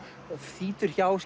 þýtur hjá